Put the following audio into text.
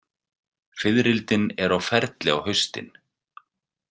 Fiðrildin eru á ferli á haustin.